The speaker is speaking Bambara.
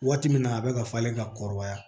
Waati min na a bɛ ka falen ka kɔrɔbaya